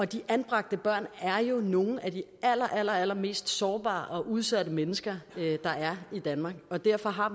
de anbragte børn er jo nogle af de allerallermest sårbare og udsatte mennesker der er i danmark og derfor har